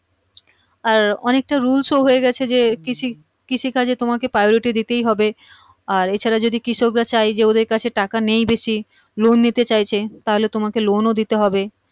আর অনেক টা rules ও হয়ে গেছে যে কৃষকৃষি কাজে তোমাকে priority দিতেই হবে আর এছাড়া যদি কৃষক রা চায় যে ওদের কাছে টাকা নেই বেশি loan নিতে চাইছে তাহলে তোমাকে loan দিতে হবে